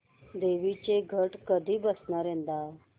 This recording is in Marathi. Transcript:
देवींचे घट कधी बसणार यंदा